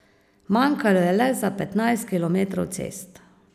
Manjkalo je le za petnajst kilometrov cest.